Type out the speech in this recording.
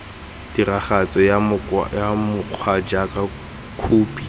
tiragatso ya mokgwa jaaka khophi